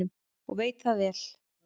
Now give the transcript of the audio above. Og veit það vel.